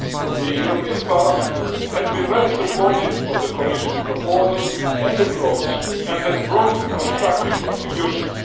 The European Parliament has been very supportive of the Commission's proposal and approach and has made constructive contributions.